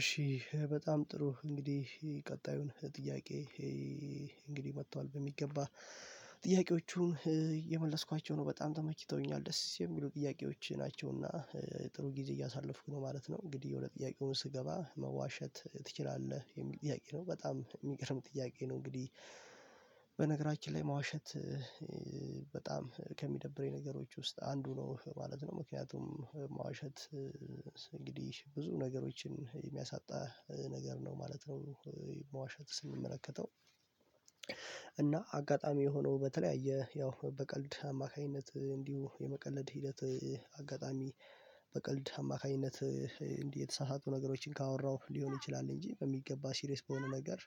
እሺ በጣም ጥሩ እንግዲህ ቀጣዩን ጥያቄ ይሄ እንግዲህ መጥቷል በሚገባ ጥያቄዎቹን እየመለስኳቸው ነው በጣም ተመችተውኛል ደስ የሚሉ ጥያቄዎች ናቸውና። ጥሩ ጊዜ እያሳለፍኩ ነው ማለት ነው። እንግዲህ ወደ ጥያቄውም ስገባ መዋሸት ትችላለህ የሚል ጥያቄ ነው በጣም የሚገርም ጥያቄ ነው። እንግዲህ በነገራችን ላይ መዋሸት በጣም ከሚደብረኝ ነገሮች ውስጥ አንዱ ነው ማለት ነው። ምክንያቱም መዋሸት እንግዲህ ብዙ ነገሮችን የሚያሳጣ ነገር ነው ማለት ነው። መዋሸት ስንመለከተው። እና አጋጣሚ ሆኖ በተለያየ ያው በቀልድ አማካኝነት እንዲሁ የመቀለድ ሂደት አጋጣሚ አማካኝነት እንዲህ የተሳሳቱ ነገሮችን ካወራው ሊሆን ይችላል። እንጂ በሚገባ ሲሬየስ በሆነ ነገር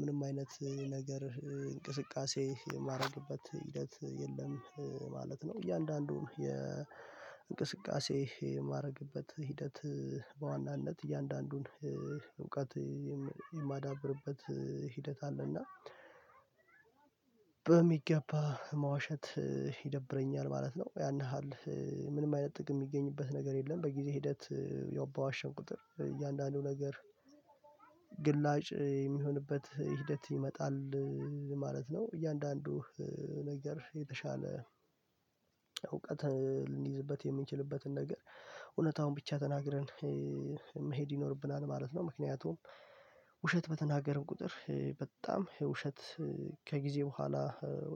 ምንም አይነት ነገር እንቅስቃሴ የማደርግበት ሂደት የለም ማለት ነው። እያንዳንዱን የእንቅስቃሴ የማድረግበት ሂደት በዋናነት እያንዳንዱን እውቀት የማዳብርበት ሂደት አለና በሚገባ መዋሸት ይደብረኛል ማለት ነው። ያን ያህል ምንም አይነት ጥቅም የሚገኝበት ነገር የለም በጊዜ ሂደት ያው በዋሸሁ ቁጥር እያንዳንዱ ነገር ግላጭ የሚሆንበት ሂደት ይመጣል ማለት ነው። እያንዳንዱ ነገር የተሻለ እውቀት ልንይዝበት የምንችልበትን ነገር እውነታውን ብቻ ተናግረን መሄድ ይኖርብናል ማለት ነው። ምክንያቱም ውሸት በተናገርን ቁጥር በጣም ውሸት ከጊዜ በኋላ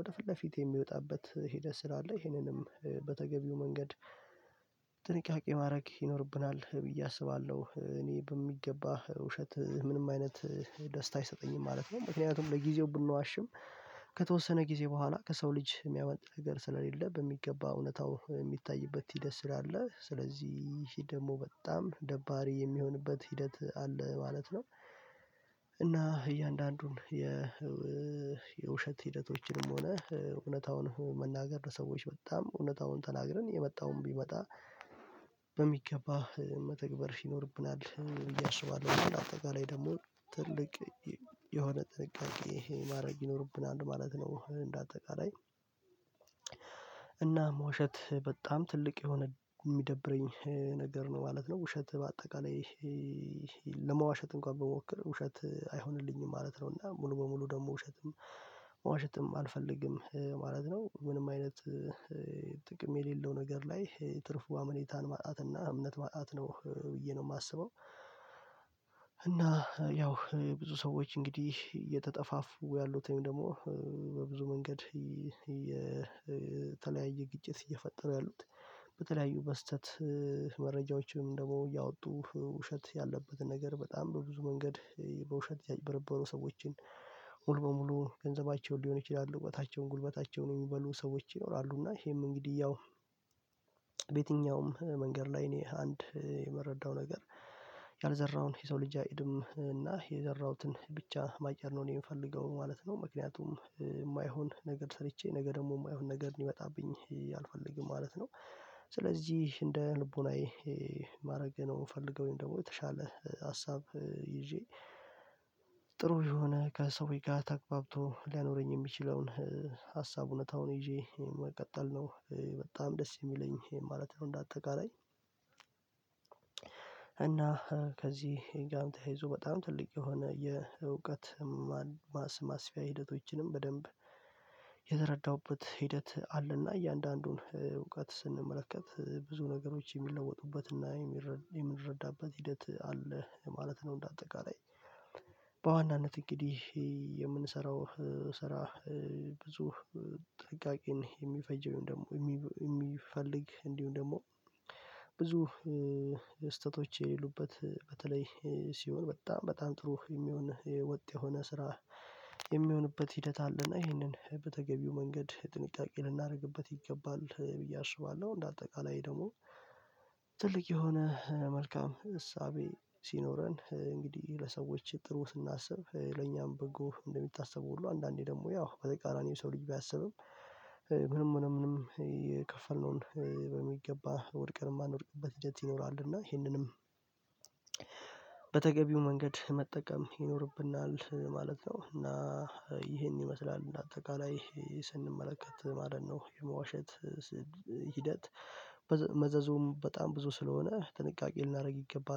ወደ ፊት ለፊት የሚወጣበት ሄደት ስላለ ይሄንንም በተገቢው መንገድ ማድረግ ይኖርብናል ብዬ አስባለሁ። እኔ በሚገባ ውሸት ምንም አይነት ደስታ አይሰጠኝም ማለት ነው። ምክንያቱም ለጊዜው ብንዋሽም ከተወሰነ ጊዜ በኋላ ከሰው ልጅ የሚያመልጥ ነገር ስለሌለ በሚገባ እውነታው የሚታይበት ሂደት ስላለ ስለዚህ ይሄ ደግሞ በጣም ደባሪ የሚሆንበት ሂደት አለ ማለት ነው። እና እያንዳንዱን የ የውሸት ሂደቶችንም ሆነ እውነታውን መናገር ለሰዎች በጣም እውነታውን ተናግረን የመጣውን ቢመጣ በሚገባ መተግበር ይኖርብናል ብዬ አስባለሁ እንደ አጠቃላይ ደግሞ ትልቅ የሆነ ጥንቃቄ ይሄ ማድረግ ይኖርብናል ማለት ነው። እንደ አጠቃላይ እናም ውሸት በጣም ትልቅ የሆነ የሚደብረኝ ነገር ነው ማለት ነው። ውሸት በአጠቃላይ ለመዋሸት እንኳን ብሞክር ውሸት አይሆንልኝም ማለት ነው። እና ሙሉ በሙሉ ደግሞ ውሸትም መዋሸትም አልፈልግም ማለት ነው። ምንም አይነት ጥቅም የሌለው ነገር ላይ ትርፉ አመኔታን ማጣትና እምነት ማጣት ነው ብዬ ነው የማስበው። እና ያው ብዙ ሰዎች እንግዲህ እየተጠፋፉ ያሉትን ደግሞ በብዙ መንገድ የተለያየ ግጭት እየፈጠሩ ያሉት በተለያዩ በስህተት መረጃዎችም ወይም ደግሞ እያወጡ ውሸት ያለበትን ነገር በጣም በብዙ መንገድ በውሸት ያጭበረበሩ ሰዎችን ሙሉ በሙሉ ገንዘባቸውን ሊሆን ይችላሉ እዉቀታቸዉን ጉልበታቸውን የሚበሉ ሰዎች ይኖራሉ እና ይሄም እንግዲህ ያው በየትኛውም መንገድ ላይ እኔ አንድ የመረዳው ነገር ያልዘራውን የሰው ልጅ አያጭድም እና የዘራሁትን ብቻ ማጨድ ነው የምፈልገው ማለት ነው። ምክንያቱም የማይሆን ነገር ሰርቼ ነገ ደግሞ የማይሆን ነገር እንዲመጣብኝ አልፈልግም ማለት ነው። ስለዚህ እንደ ልቦናዬ ማድረግ ነው የምፈልገው ደግሞ የተሻለ ሀሳብ ይዤ ጥሩ የሆነ ከሰዎች ጋር ተግባብቶ ሊያኖረኝ የሚችለውን ሀሳብ እውነታዉን ይዤ መቀጠል ነው በጣም ደስ የሚለኝ ማለት ነው። እንደ አጠቃላይ እና ከዚህ ጋም ተያይዞ በጣም ትልቅ የሆነ የእውቀት ማስፊያ ሂደቶችንም በደንብ የተረዳሁበት ሂደት አለና እያንዳንዱን እውቀት ስንመለከት ብዙ ነገሮች የሚለወጡበትና የምንረዳበት ሂደት አለ ማለት ነው። እንደ አጠቃላይ በዋናነት እንግዲህ የምንሰራው ስራ ብዙ ጥንቃቄን የሚፈጀው ወይም ደግሞ የሚፈልግ እንዲሁም ደግሞ ብዙ ስህተቶች የሌሉበት በተለይ ሲሆን በጣም በጣም ጥሩ የሚሆን ወጥ የሆነ ስራ የሚሆንበት ሂደት አለና ይሄንን በተገቢው መንገድ ጥንቃቄ ልናደርግበት ይገባል ብዬ አስባለሁ። እንደ አጠቃላይ ደግሞ ትልቅ የሆነ መልካም እሳቤ ሲኖረን እንግዲህ ለሰዎች ጥሩ ስናስብ ለኛም በጎ እንደሚታስበው ሁሉ አንዳንዴ ደግሞ ያው በተቃራኒው ሰው ልጅ ቢያስብም ምንም ሆነ ምንም የከፈልነውን በሚገባ ወድቀን የማንወድቅበት ይኖራል እና ይሄንንም በተገቢው መንገድ መጠቀም ይኖርብናል ማለት ነው። እና ይሄን ይመስላል እንደ አጠቃላይ ስንመለከት ማለት ነው የመዋሸት ሂደት መዘዙም በጣም ብዙ ስለሆነ ጥንቃቄ ልናደርግ ይገባል